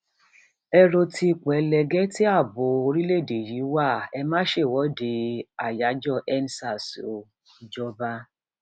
ẹ ro ti ipò ẹlẹgẹ tí ààbọ orílẹèdè yìí wà ẹ má ṣèwọde àyájọendsars o ìjọba